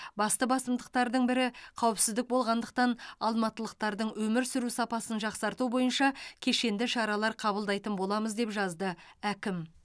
басты басымдықтардың бірі қауіпсіздік болғандықтан алматылықтардың өмір сүру сапасын жақсарту бойынша кешенді шаралар қабылдайтын боламыз деп жазды әкім